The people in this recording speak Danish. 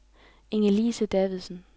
Ingelise Davidsen